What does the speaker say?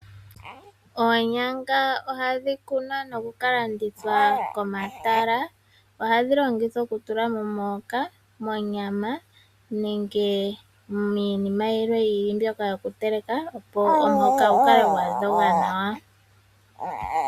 Oonyanga ohadhi kunwa nokukalandithwa komatala ohadhi longithwa okutula momihoka, monyama nenge miinima yi ili mbyoka yokuteleka, opo omuhoka gu kale gwa dhoga nawa.